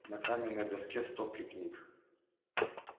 на каменной доске стопки книг